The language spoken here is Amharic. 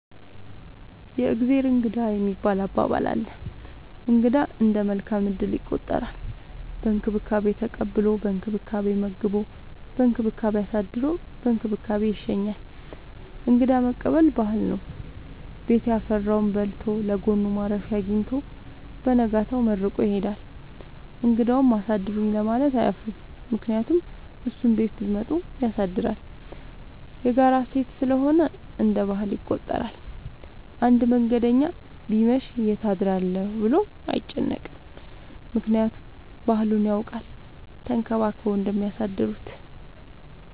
የእግዜር እንግዳ የሚባል አባባል አለ። እንግዳ እንደ መልካም እድል ይቆጠራል። በእንክብካቤ ተቀብሎ በእንክብካቤ መግቦ በእንክብካቤ አሳድሮ በእንክብካቤ ይሸኛል። እንግዳ መቀበል ባህል ነው። ቤት ያፈራውን በልቶ ለጎኑ ማረፊያ አጊኝቶ በነጋታው መርቆ ይሄዳል። እንግዳውም አሳድሩኝ ለማለት አያፍርም ምክንያቱም እሱም ቤት ቢመጡ ያሳድራል። የጋራ እሴት ስለሆነ እንደ ባህል ይቆጠራል። አንድ መንገደኛ ቢመሽ ይት አድራለሁ ብሎ አይጨነቅም። ምክንያቱም ባህሉን ያውቃል ተንከባክበው እንደሚያሳድሩት።